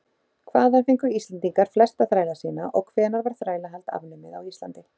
Hvaðan fengu Íslendingar flesta þræla sína og hvenær var þrælahald afnumið á Íslandi?